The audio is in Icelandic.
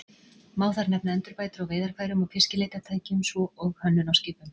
Má þar nefna endurbætur á veiðarfærum og fiskileitartækjum, svo og hönnun á skipum.